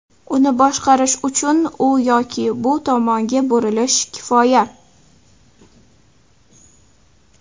Uni boshqarish uchun u yoki bu tomonga burilish kifoya.